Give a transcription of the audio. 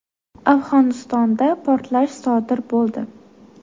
Afg‘onistonda portlash sodir bo‘ldi.